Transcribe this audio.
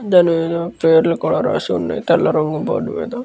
దాని మీద పేర్లు కూడా రాసి ఉన్నాయి. తెల్ల రంగు బోర్డ్ మీద.